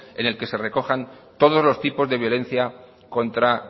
en el que se recojan todos los tipos de violencia contra